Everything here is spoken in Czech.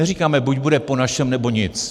Neříkáme buď bude po našem, nebo nic.